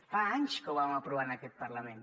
fa anys que ho vam aprovar en aquest parlament